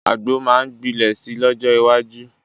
Àgbo máa gbilẹ̀ si lọ́jọ́ iwájú